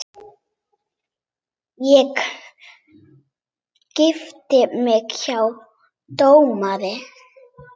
Ég gifti mig hjá dómara.